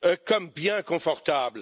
comme bien confortable.